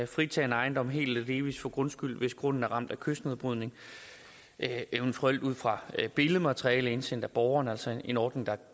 fritage en ejendom helt eller delvis for grundskyld hvis grunden er ramt af kystnedbrydning eventuelt ud fra billedmateriale indsendt af borgeren altså en ordning der